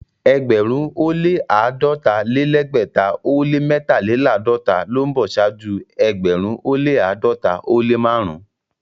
Ẹgbẹ̀rún ó lẹ́ àádọ́ta-lé-lẹ́gbẹ̀ta ó lẹ́ mẹ́tàléláàdọ́ta ló ń bọ̀ ṣáájú ẹgbẹ̀rún ó lẹ́ àádọ́ta ó lẹ́ márùn-ún.